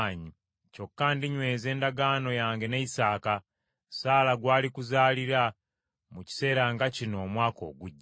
Kyokka ndinyweza endagaano yange ne Isaaka, Saala gw’alikuzaalira mu kiseera nga kino omwaka ogujja.”